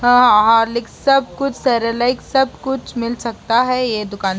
हां हॉर्लिक्स सब कुछ सेरेलैक सब कुछ मिल सकता है ये दुकान --